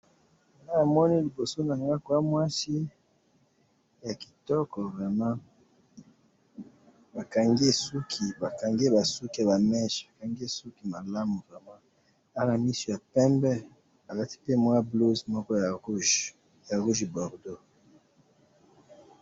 Awa namoni liboso nanga kwamwasi yakitoko vraiment, bakangiye suki, bakangi ye basuki yaba minche, bakangiye suki malamu vraiment, aza namisu ya pembe, alati pe mwa blouse moko ya rouge, ya rouge bordo.